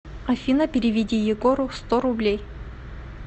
афина переведи егору сто рублей